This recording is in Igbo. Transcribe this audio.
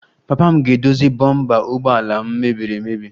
Papa m ga-edozi bompa ụgbọ ala m mebiri emebi